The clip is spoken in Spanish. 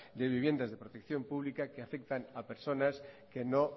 de viviendas de protección pública que afectan a personas que no